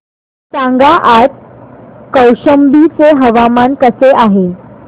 सांगा आज कौशंबी चे हवामान कसे आहे